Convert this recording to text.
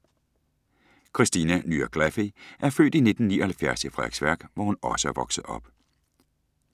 Kristina Nya Glaffey er født i 1979 i Frederiksværk, hvor hun også er vokset op.